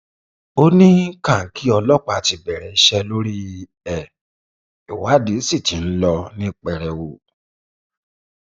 ó ní kàǹkì ọlọpàá ti bẹrẹ iṣẹ lórí ẹ ìwádìí sí ti ń lọ ní pẹrẹwu